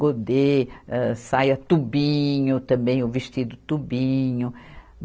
Godê, âh, saia tubinho, também o vestido tubinho.